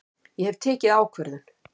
Ég hef tekið ákvörðun!